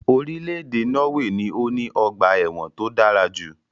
Irílèdè Norway ni o ní ogbà èwòn to dárajù